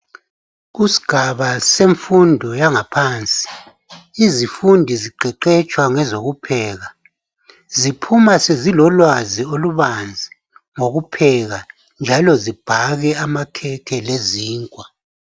Kusigaba sefundo yangaphansi izifundi ziqeqetshwa ngezokupheka. Ziphuma zilolwazi olubabanzi ngokupheka njalo zibhake amakhekhe lezinkwa.